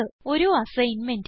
ഒരു അസൈൻമെന്റ്